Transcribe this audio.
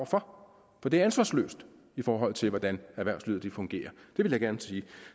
for for det er ansvarsløst i forhold til hvordan erhvervslivet fungerer det vil jeg gerne sige